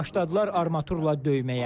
Başladılar armaturla döyməyə.